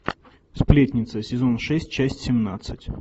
сплетница сезон шесть часть семнадцать